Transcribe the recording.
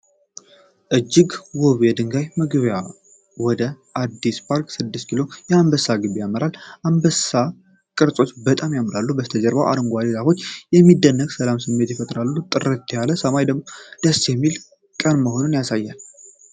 እጅግ ውብ የድንጋይ መግቢያ ወደ አዲስ ፓርክ 6 ኪሎ አንበሳ ግቢ ያመራል። አንበሳ ቅርጾች በጣም ያምራሉ። የበስተጀርባው አረንጓዴ ዛፎች የሚደንቅ የሰላም ስሜት ይሰጣሉ። ጥርት ያለ ሰማይ ደስ የሚል ቀን መሆኑን ያሳያል።